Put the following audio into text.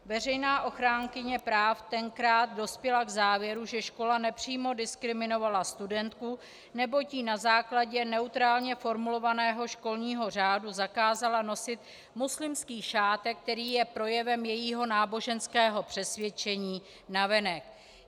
Veřejná ochránkyně práv tenkrát dospěla k závěru, že škola nepřímo diskriminovala studentku, neboť jí na základě neutrálně formulovaného školního řádu zakázala nosit muslimský šátek, který je projevem jejího náboženského přesvědčení navenek.